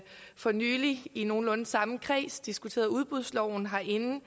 for nylig i nogenlunde samme kreds diskuterede udbudsloven herinde